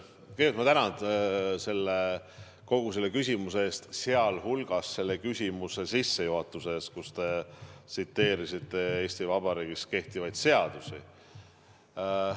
Kõigepealt ma tänan kogu selle küsimuse eest, sh küsimuse sissejuhatuse eest, kus te tsiteerisite Eesti Vabariigis kehtivaid seadusi.